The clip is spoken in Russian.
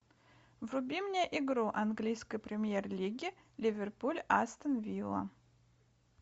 вруби мне игру английской премьер лиги ливерпуль астон вилла